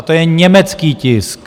A to je německý tisk!